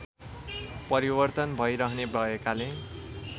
परिवर्तन भइरहने भएकाले